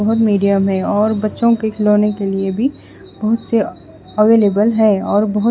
बोहोत मीडियम है और बच्चो के खिलोनो के लिए भी बोहोत से अवेलेबल है और बोहोत --